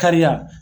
Kariya